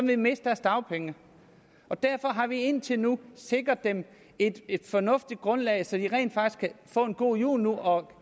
vil miste deres dagpenge og derfor har vi indtil nu sikret dem et et fornuftigt grundlag så de rent faktisk kan få en god jul nu og